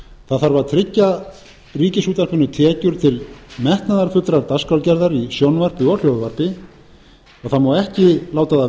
það þarf að tryggja ríkisútvarpinu tekjur til metnaðarfullrar dagskrárgerðar í sjónvarpi og hljóðvarpi það má ekki láta það